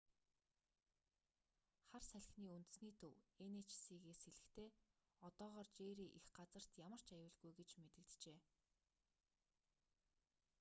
хар салхины үндэсний төв эн эйч си-с хэлэхдээ одоогоор жерри эх газарт ямар ч аюулгүй гэж мэдэгджээ